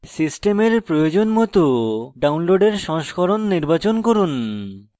সিস্টেমের প্রয়োজন মত download সংস্করণ নির্বাচন করুন